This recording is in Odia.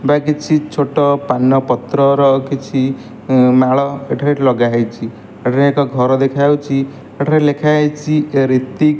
ଏଠାରେ କିଛି ଛୋଟ ପାନପତ୍ର ର କିଛି ମାଳ ଏଠାରେ ଲଗା ହେଇଚି। ଏଠାରେ ଏକ ଘର ଦେଖା ଯାଉଚି ଏଠାରେ ଲେଖା ହେଇଚି ରିତିକ୍।